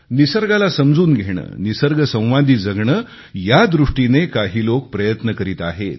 निसर्गाला समजून घेणे निसर्गासोबत जगणे यादृष्टीने काही लोक प्रयत्न करीत आहे